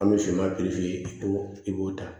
An bɛ siman i b'o i b'o ta